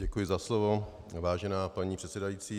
Děkuji za slovo, vážená paní předsedající.